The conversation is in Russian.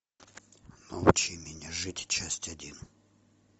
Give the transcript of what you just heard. научи меня жить часть один